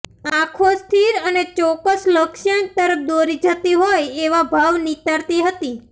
આંખો સ્થિર અને ચોક્કસ લક્ષ્યાંક તરફ દોરી જતી હોય એવા ભાવ નિતારતી હતી